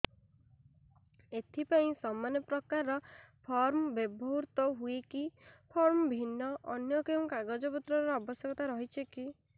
ଏଥିପାଇଁ ସମାନପ୍ରକାର ଫର୍ମ ବ୍ୟବହୃତ ହୂଏକି ଫର୍ମ ଭିନ୍ନ ଅନ୍ୟ କେଉଁ କାଗଜପତ୍ରର ଆବଶ୍ୟକତା ରହିଛିକି